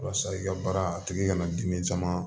Walasa i ka baara a tigi kana dimi caman